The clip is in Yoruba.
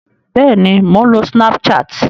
Bẹ́ẹ̀ni, mò ń lo snapchat